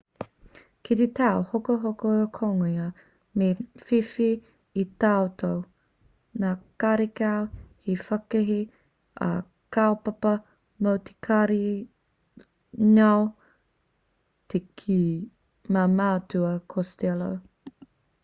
kite tauhokohokongia me whiwhi i a tātou nā karekau he whakahē a kaupapa mo te karihi ngoi te kī a matua costello